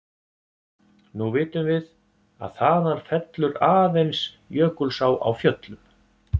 Nú vitum við, að þaðan fellur aðeins Jökulsá á Fjöllum.